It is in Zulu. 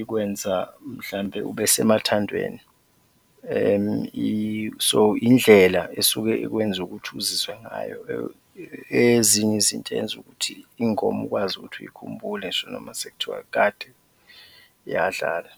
ikwenza mhlawumbe ubesemathandweni. So indlela esuke ikwenza ukuthi uzizwe ngayo ezinye izinto eyenza ukuthi ingoma ukwazi ukuthi uyikhumbule ngisho noma sekuthiwa kade yadlala.